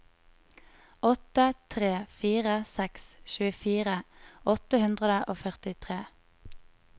åtte tre fire seks tjuefire åtte hundre og førtitre